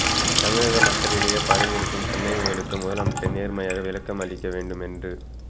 தமிழக மக்களிடையே பரவி இருக்கும் சந்தேகங்களுக்கு முதலமைச்சர் நேர்மையாக விளக்கம் அளிக்க வேண்டும் என்றும்